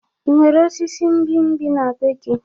Ị nwere osisi mgbimgbi n'ebe gị?